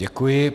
Děkuji.